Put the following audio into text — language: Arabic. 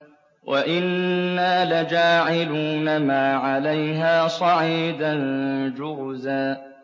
وَإِنَّا لَجَاعِلُونَ مَا عَلَيْهَا صَعِيدًا جُرُزًا